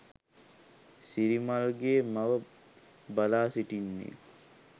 සිරිමල්ගේ මව බලා සිටින්නේ